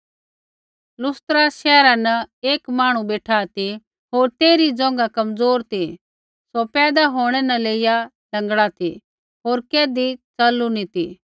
लुस्त्रा शैहरा न एक मांहणु बेठा ती होर तेइरी ज़ोंघा कमज़ोर ती सौ पैदा होंणै न लेइया लँगड़ा ती होर कैधी च़लू न ती